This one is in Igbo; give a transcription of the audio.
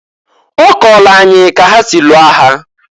Ọ kọọlụ anyị ka ha si lụọ agha.